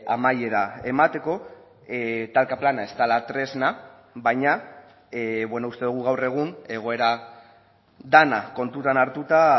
amaiera emateko talka plana ez dela tresna baina uste dugu gaur egun egoera dena kontutan hartuta